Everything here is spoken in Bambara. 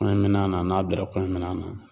Kɔɲɔminan na n'a bilara kɔɲɔmina